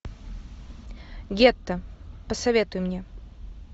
гетто посоветуй мне